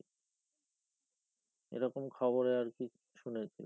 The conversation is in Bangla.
এরকম খবরে আর কি শুনেছিলাম।